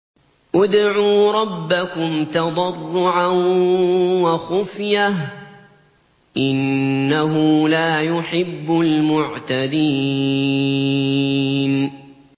ادْعُوا رَبَّكُمْ تَضَرُّعًا وَخُفْيَةً ۚ إِنَّهُ لَا يُحِبُّ الْمُعْتَدِينَ